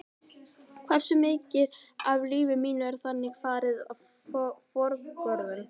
Hversu mikið af lífi mínu er þannig farið forgörðum?